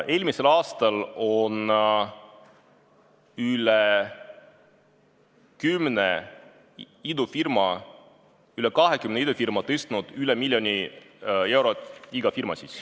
Eelmisel aastal on üle kümne idufirma, üle kahekümne idufirma tõstnud siia igaüks üle miljoni euro.